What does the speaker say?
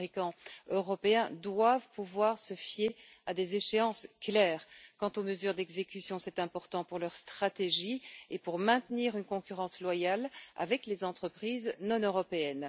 Les fabricants européens doivent pouvoir se fier à des échéances claires quant aux mesures d'exécution. C'est important pour leur stratégie et pour maintenir une concurrence loyale avec les entreprises non européennes.